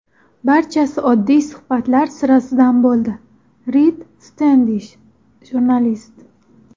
Barchasi oddiy suhbatlar sirasidan bo‘ldi”, Rid Stendish, jurnalist.